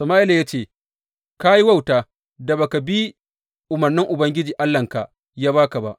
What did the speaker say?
Sama’ila ya ce, Ka yi wauta da ba ka bi umarnin da Ubangiji Allahnka ya ba ka ba.